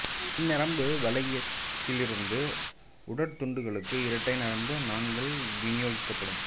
இந்நரம்பு வளையத்திலிருந்து உடற் துண்டங்களுக்கு இரட்டை நரம்பு நாண்கள் விநியோகிக்கப்படும்